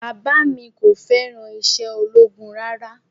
Bàbá mi kò fẹ́ràn iṣẹ́ ológun rárá